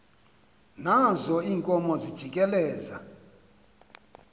nazo iinkomo zijikeleza